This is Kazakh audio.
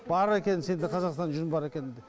бар екенін сенде қазақстанда жүн бар екенін де